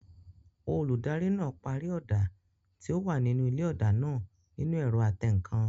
Olùdarí náà pàrọ̀ ọ̀dà tí ó wà nínú ilé ọ̀dà náà nínu ẹ̀rọ atẹǹkan